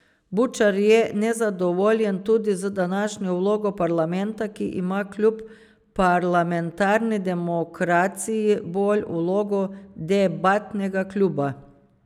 Bučar je nezadovoljen tudi z današnjo vlogo parlamenta, ki ima kljub parlamentarni demokraciji bolj vlogo debatnega kluba.